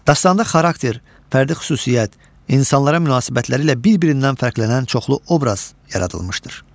Dastanda xarakter, fərdi xüsusiyyət, insanlara münasibətləri ilə bir-birindən fərqlənən çoxlu obraz yaradılmışdır.